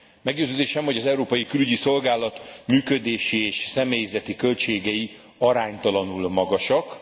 Meggyőződésem, hogy az Európai Külügyi Szolgálat működési és személyzeti költségei aránytalanul magasak.